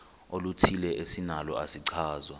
oluthile esinalo isichazwa